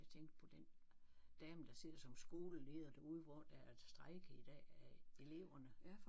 Jeg tænkte på den dame der sidder som skoleleder derude hvor der er strejke i dag af eleverne